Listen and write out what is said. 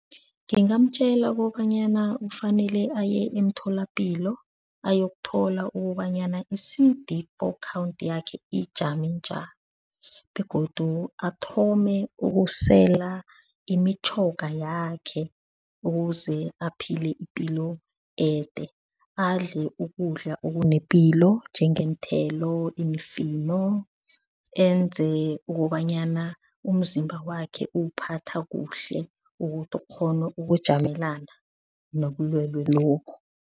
Ngingamtjela kobanyana kufanele aye emtholapilo ayokuthola ukobanyana i-C_D four count yakhe ijame njani. Begodu athome ukusela imitjhoga yakhe ukuze aphile ipilo ede, adle ukudla okunepilo njengeenthelo, imifino. Enze ukobanyana umzimba wakhe uwuphatha kuhle ukuthi ukghone ukujamelana nobulwele lobu.